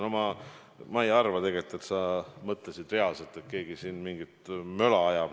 No ma ei arva tegelikult, et sa mõtlesid reaalselt, et keegi siin mingit möla ajab.